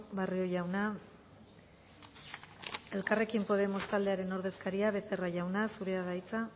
barrio jauna elkarrekin podemos taldearen ordezkaria becerra jauna zurea da hitza